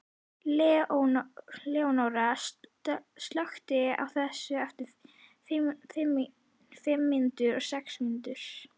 Leónóra, slökktu á þessu eftir fimmtíu og sex mínútur.